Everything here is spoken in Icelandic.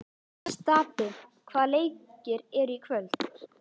Stapi, hvaða leikir eru í kvöld?